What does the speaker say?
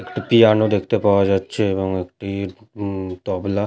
একটি পিয়ানো দেখতে পাওয়া যাচ্ছে এবং একটি উম তবলা--